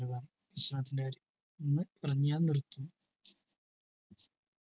ഭക്ഷണത്തിന്റെ കാര്യം ഒന്ന് പറഞ്ഞാൽ നിർത്തും